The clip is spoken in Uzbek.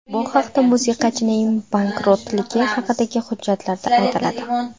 Bu haqda musiqachining bankrotligi haqidagi hujjatlarda aytiladi.